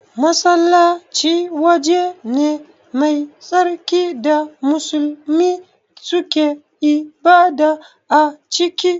Masallaci waje ne mai tsarki da musulmi suke ibada a ciki